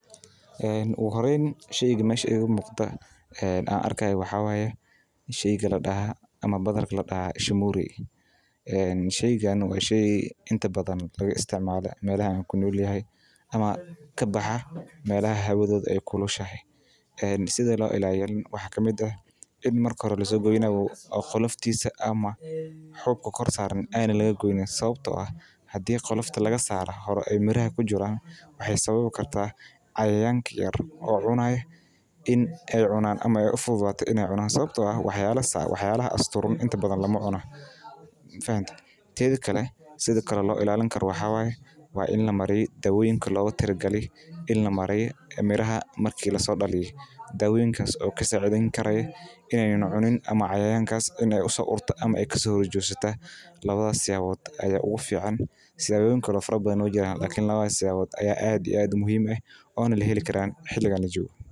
Ugu horeyn sheyga ii muuqdo waxaa waye shamuureey oo ah waxeey sido kale salad waxaa lagu daraa nyanya lajarjaray boosha waxaa waye inaad haysato warqadaha walidinta ama dimashada boqolaal qof cidamada deeganka ayaa laga helaa hilib mida kowaad waa daqtarka dadka sacideyni haayo.